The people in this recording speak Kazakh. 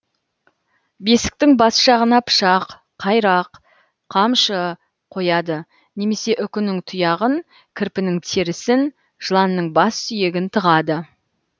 бесіктің бас жағына пышақ қайрақ қамшы қояды немесе үкінің тұяғын кірпінің терісін жыланның бас сүйегін тығады